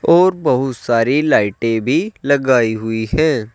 और बहुत सारी लाइटें भी लगाई हुई है।